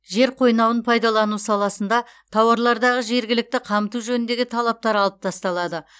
жер қойнауын пайдалану саласында тауарлардағы жергілікті қамту жөніндегі талаптар алып тасталады